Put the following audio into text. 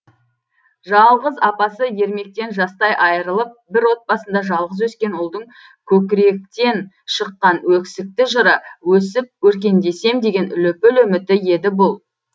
жалғыз апасы ермектен жастай айырылып бір отбасында жалғыз өскен ұлдың көкіректен шыққан өкісікті жыры өсіп өркендесем деген лүпіл үміті еді бұл